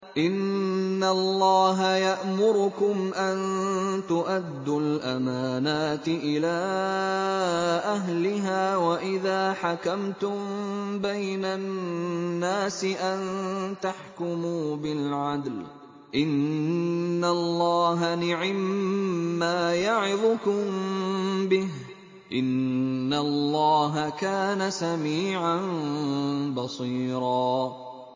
۞ إِنَّ اللَّهَ يَأْمُرُكُمْ أَن تُؤَدُّوا الْأَمَانَاتِ إِلَىٰ أَهْلِهَا وَإِذَا حَكَمْتُم بَيْنَ النَّاسِ أَن تَحْكُمُوا بِالْعَدْلِ ۚ إِنَّ اللَّهَ نِعِمَّا يَعِظُكُم بِهِ ۗ إِنَّ اللَّهَ كَانَ سَمِيعًا بَصِيرًا